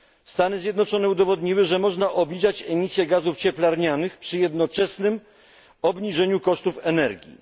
Stany Zjednoczone udowodniły, że można obniżać emisję gazów cieplarnianych przy jednoczesnym obniżeniu kosztów energii.